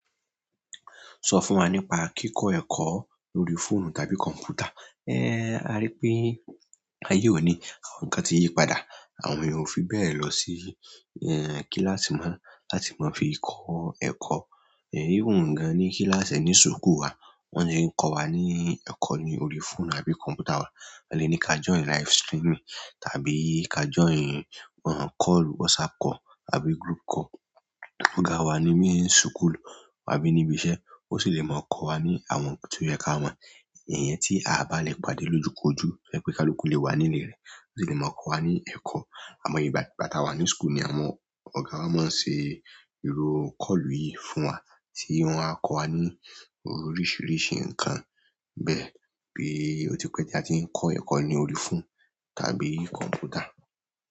Sọ fún wa nípa kíkọ́ ẹ̀kọ́ lórí fóònù tàbí kọ̀ǹpútà. Ẹ́, a rí pé ayé òní àwọn nǹkan ti yí padà, àwọn èeyàn ò fi bẹ́ẹ̀ lọ sí ẹ́ kíláàsì mọ́ láti máa fi kọ́ ẹ̀kọ́. Ẹ̀hí hun gan-an ní kíláàsì ẹní súkù wa wọ́n le kó wa ní ẹ̀kọ́ ni órí fóònù àbí kọ̀ǹpútà. Wọ́n le ní ká join live streaming tàbí ká join ọ̀hún call, WhatsApp call àbí group call. Ọ̀gá wa ni bi súkùlu ábí ní ibi iṣẹ́, ó sì le máa kọ́ wa ní àwọn nǹkan tó yẹ ká mọ̀. Iyẹn tí a bá lè pàdé lójukọ́ju to yẹ́ pé kálukú lè wà ní ilẹ̀ rẹ̀, ó le máa kọ́ wa ní ẹ̀kọ́. Àmọ́ ìgbà gbà tà wa ní school ni àwọn ọ̀gá wa máa ń ṣe irú call yìí fún wa tí wọ́n á kọ́ wa ní oríṣìíríṣìí ǹnkan bẹ́ẹ̀. Bi o tipe ti a ti n ko eko ni orí phone kabi konputa.